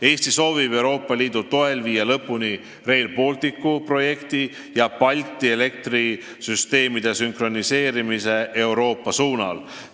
Eesti soovib Euroopa Liidu toel viia lõpuni Rail Balticu projekti ja Balti elektrisüsteemide sünkroniseerimise Euroopa suunal.